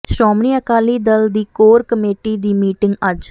ਸ਼੍ਰੋਮਣੀ ਅਕਾਲੀ ਦਲ ਦੀ core committee ਦੀ meeting ਅੱਜ